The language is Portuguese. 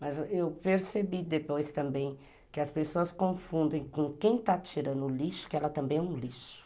Mas eu percebi depois também que as pessoas confundem com quem está tirando o lixo, que ela também é um lixo.